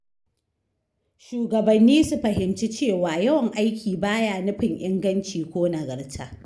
Shugabanni su fahimci cewa yawan aiki ba ya nufin inganci ko nagarta.